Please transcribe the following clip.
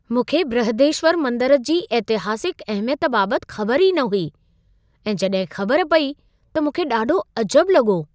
मूंखे बृहदेश्वर मंदर जी ऐतिहासिक अहिमियत बाबति ख़बर ई न हुई ऐं जॾहिं ख़बर पेई त मूंखे ॾाढो अजबु लॻो।